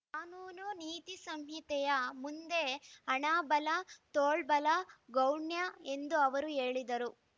ಕಾನೂನು ನೀತಿ ಸಂಹಿತೆಯ ಮುಂದೆ ಹಣ ಬಲ ತೋಳ್ಬಲ ಗೌಣ್ಯ ಎಂದು ಅವರು ಹೇಳಿದರು